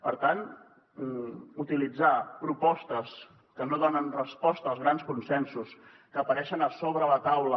per tant utilitzar propostes que no donen resposta als grans consensos que apareixen a sobre la taula